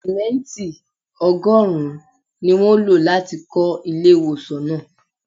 Simẹnti ọgọ́rùn-ún ni wọ́n lo láti kọ ilé ìwòsàn náà.